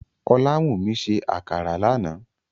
Olawúmí sẹ́ àkàrà lánà